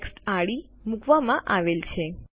ટેક્સ્ટઆડી મૂકવામાં આવેલ છે